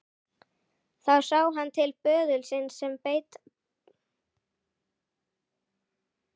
Þá sá hann til böðulsins sem beið hans.